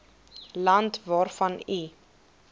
land waarvan u